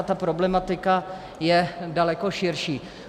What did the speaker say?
A ta problematika je daleko širší.